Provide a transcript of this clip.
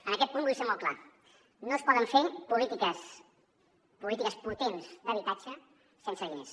en aquest punt vull ser molt clar no es poden fer polítiques potents d’habitatge sense diners